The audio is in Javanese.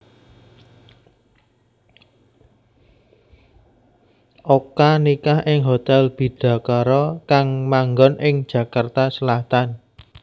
Oka nikah ing Hotel Bidakara kang manggon ing Jakarta Selatan